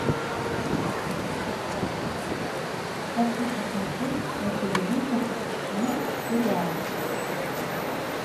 хочу посмотреть на телевизоре мир сериала